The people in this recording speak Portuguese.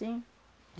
Sim.